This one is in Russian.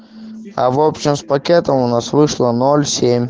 а в общем с пакетом у нас вышло ноль семь